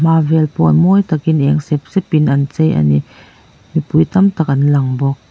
vel pawh mawi takin eng sepsep in an chei ani mipui tamtak an lang bawk.